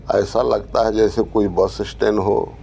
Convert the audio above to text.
ऐसा लगता है जैसे कोई बस स्टैंड हो।